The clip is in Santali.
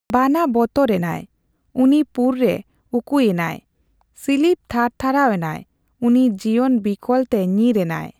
ᱵᱟᱱᱟ ᱵᱚᱛᱚᱨ ᱮᱱᱟᱭ ᱾ᱩᱱᱤ ᱯᱩᱨ ᱨᱮ ᱩᱠᱩᱭᱮᱱᱟᱭ ᱾ᱥᱤᱞᱤᱵ ᱛᱷᱟᱨ ᱛᱷᱟᱨᱟᱣ ᱮᱱᱟᱭ ᱾ᱩᱱᱤ ᱡᱤᱵᱚᱱ ᱵᱤᱠᱚᱞ ᱛᱮ ᱧᱤᱨ ᱮᱱᱟᱭ ᱾